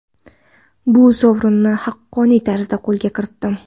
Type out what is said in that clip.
Bu sovrinni haqqoniy tarzda qo‘lga kiritdim.